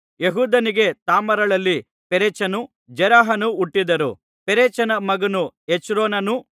ಯೆಹೂದನಿಗೆ ತಾಮಾರಳಲ್ಲಿ ಪೆರೆಚನು ಜೆರಹನು ಹುಟ್ಟಿದರು ಪೆರೆಚನ ಮಗನು ಹೆಚ್ರೋನನು